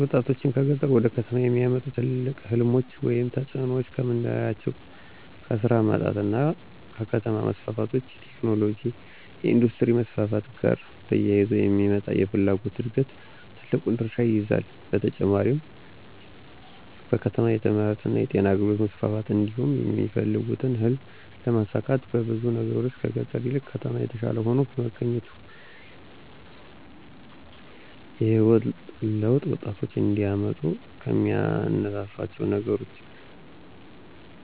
ወጣቶችን ከገጠር ወደ ከተሞች የሚያመጡ ትልቅ ሕልሞች ወይም ተጽዕኖዎች ከምናላቸው ከስራ ማጣት እና ከከተማ መስፋፋት (ቴክኖሎጅ፣ የኢንዱስትሪ መስፋፋት )ጋር ተያይዞ የሚመጣ የፍላጎት ዕድገት ትልቁን ድርሻ ይይዛሉ። በተጨማሪም በከተማ የትምህርትእና የጤና አገልግሎት መስፋፋት እንዲሁም የሚፈልጉትን ህልም ለማሳካት በብዙ ነገሮች ከገጠር ይልቅ ከተማ የተሻለ ሆኖ በመገኘቱ። የህይወት ለውጥ ወጣቶች እንዲያመጡ ከሚያነሳሷቸው ነገሮች